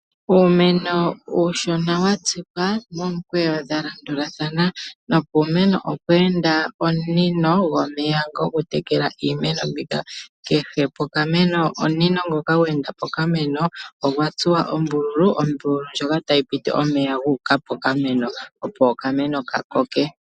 Uumeno uushona watsikwa momikweyo dhalandulatha no puumeno opweenda omunino gomeya gokutekela iimeno mbika. Kehe pokameno omunino ngoka gweenda pokameno ogwatsuwa ombululu ndjoka tayi piti omeya guuka pokameno opo okameno kakoke.